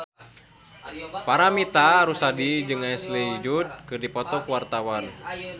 Paramitha Rusady jeung Ashley Judd keur dipoto ku wartawan